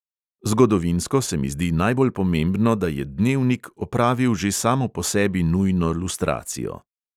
Zgodovinsko se mi zdi najbolj pomembno, da je dnevnik opravil že samo po sebi nujno lustracijo.